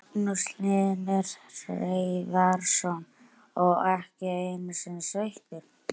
Magnús Hlynur Hreiðarsson: Og ekki einu sinni sveittur?